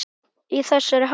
Í þessari hálku?